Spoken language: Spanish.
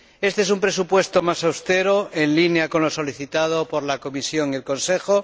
Éste es un presupuesto más austero, en línea con lo solicitado por la Comisión y el Consejo.